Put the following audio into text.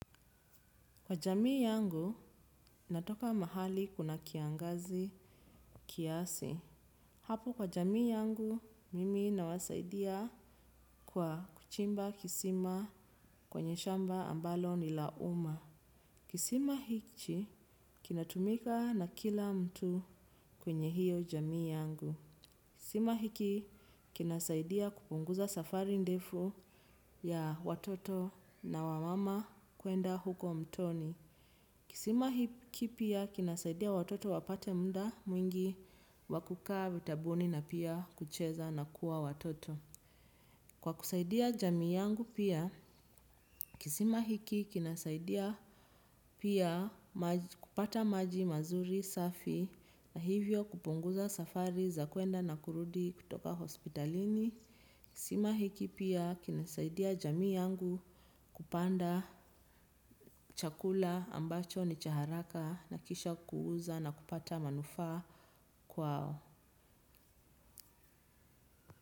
Kwa jamii yangu, natoka mahali kuna kiangazi kiasi. Hapo kwa jamii yangu, mimi na wasaidia kwa kuchimba kisima kwenye shamba ambalo ni lauma. Kisima hichi, kinatumika na kila mtu kwenye hiyo jamii yangu. Kisima hiki, kinasaidia kupunguza safari ndefu ya watoto na wamama kuenda huko mtoni. Kisima hiki pia kinasaidia watoto wapate mnda mwingi wakukaa vitabuni na pia kucheza na kuwa watoto. Kwa kusaidia jamii yangu pia, kisima hiki kinasaidia pia kupata maji mazuri safi na hivyo kupunguza safari za kuenda na kurudi kutoka hospitalini. Kisima hiki pia kinasaidia jami yangu kupanda chakula ambacho ni chaharaka na kisha kuuza na kupata manufaa kwao.